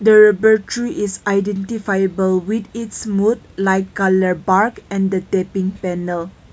the rubber tree is identifiable with it's smooth light colour bark and the tapping panel.